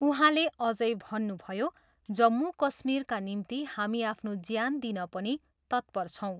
उहाँले अझै भन्नुभयो, जम्मू कश्मीरका निम्ति हामी आफ्नो ज्यान दिन पनि तत्पर छौँ।